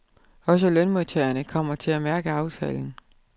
Også lønmodtagerne kommer til at mærke aftalen.